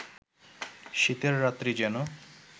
শীতের রাত্রি যেন